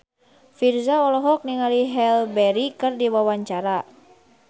Virzha olohok ningali Halle Berry keur diwawancara